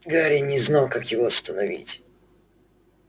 гарри не знал как его остановить